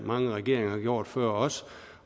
mange regeringer gjort før os